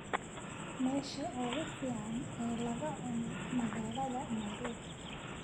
meesha ugu fiican ee laga cuno magaalada nairobi